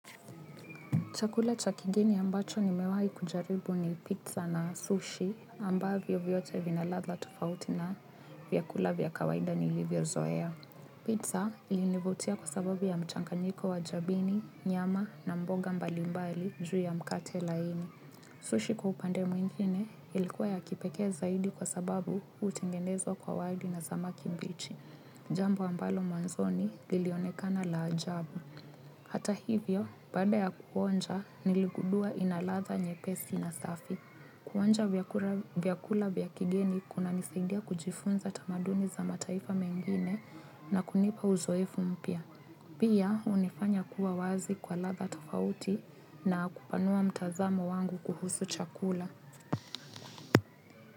Chakula cha kigeni ambacho nimewahi kujaribu ni pizza na sushi ambavyo vyote vina ladla tofauti na vyakula vya kawaida nilivyozoea. Pizza ilinivutia kwa sababu ya mchanganyiko wa jabini, nyama na mboga mbalimbali juu ya mkate laini. Sushi kwa upande mwingine ilikuwa ya kipekee zaidi kwa sababu hutengenezwa kwa wali na samaki mbichi. Jambo ambalo mwanzoni lilionekana la ajabu. Hata hivyo, baada ya kuonja, niligundua ina latha nyepesi na safi. Kuonja vyakula vya kigeni kunanisaidia kujifunza tamaduni za mataifa mengine na kunipa uzoefu mpya. Pia, hunifanya kuwa wazi kwa latha tofauti na kupanua mtazamo wangu kuhusu chakula.